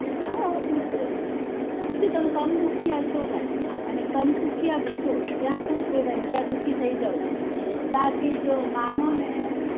હા પૂછી લેજો પૂછો તમે સમદુખ્યાં ભાઈ અને સમસુખ્યા ભી છો ક્યાં ખુશ રેવાય ને ત્યાં દુઃખી થઇ જાઓ છો બાકી જો માનો ને